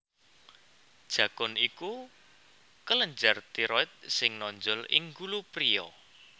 Jakun iku kelenjar tiroid sing nonjol ing gulu priya